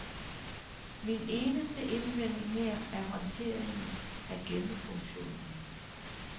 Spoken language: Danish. Min eneste indvending her er håndteringen af gemmefunktionen.